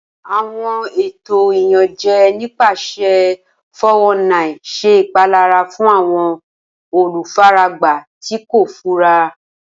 Awọn eto Iyanjẹ nipasẹ 419 ṣe ipalara fun awọn olufaragba ti ko fura.